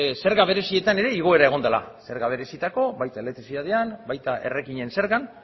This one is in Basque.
zerga berezietan ere igoera egon dela zerga berezietarako baita elektrizitatean baita errekinen zergan